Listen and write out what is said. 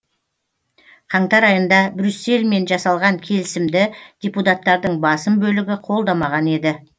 қаңтар айында брюссельмен жасалған келісімді депутаттардың басым бөлігі қолдамаған еді